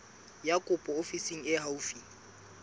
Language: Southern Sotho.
ya kopo ofising e haufi